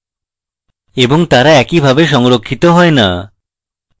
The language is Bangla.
এবং তারা একইভাবে সংরক্ষিত হয় না